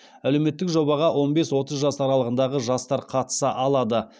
әлеуметтік жобаға он бес отыз жас аралығындағы жастар қатыса алады